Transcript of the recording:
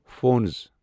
phones